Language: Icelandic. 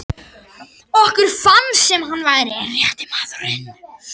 Okkur fannst sem hann væri rétti maðurinn.